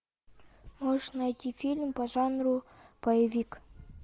можешь найти фильм по жанру боевик